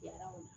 Kɛra o la